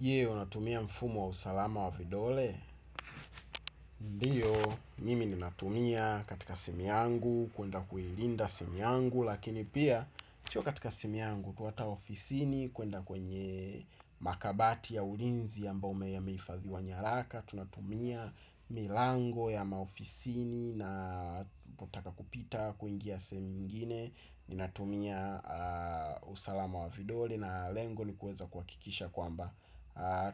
Je unatumia mfumo wa usalama wa vidole. Ndiyo mimi ninatumia katika simi yangu kwenda kuilinda simu yangu. Lakini pia sio katika simu yangu tu ata ofisini kwenda kwenye makabati ya ulinzi ambamo yameifadhiwa nyaraka. Tunatumia milango ya maofisini. Na napotaka kupita kuingia sehemu ingine ninatumia usalama wa vidole. Na lengo ni kuweza kuhakikisha kwamba